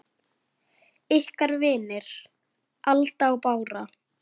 Ykkar vinir, Alda og Bára.